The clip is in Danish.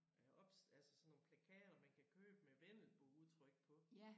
Øh op altså sådan nogle plakater man kan købe med vendelboudtryk på